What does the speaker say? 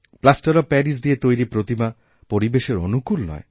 plaster of Paris দিয়ে তৈরি প্রতিমা পরিবেশের অনুকূলনয়